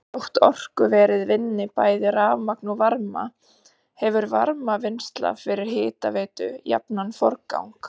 Þótt orkuverið vinni bæði rafmagn og varma hefur varmavinnsla fyrir hitaveitu jafnan forgang.